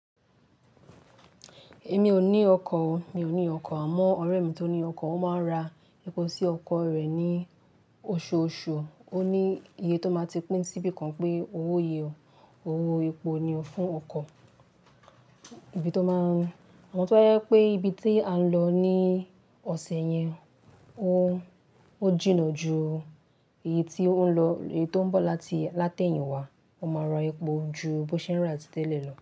Èmi ò ní ọkọ̀ o, mi ò ní ọkọ̀. Àmọ́ ọ̀rẹ́ mi tó ní ọkọ̀, ó máa ń ra epo sí ọkọ̀ rẹ̀ ní oṣooṣù. Ó ní iye tó máa ti pín síbí kan pé owo yi ò, owó epo ni ó fún ọkọ̀. Ibi tó máa ń Àmọ́ tó bá yẹ pé ibi tí à ń lọ ní ọ̀sẹ̀ yẹn, ó, ó jìnnà ju ìyè tí ó ń lọ, èyí tó ń bọ̀ láti, lá tẹ́yìn wá. Ó máa ra epo ju bó ṣé ń rà tí tẹ́lẹ̀ lọ.